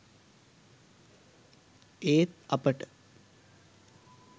ඒත් අපට